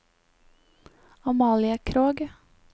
Amalie Krogh